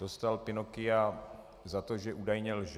Dostal Pinocchia za to, že údajně lže.